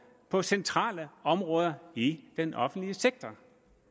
på centrale områder i den offentlige sektor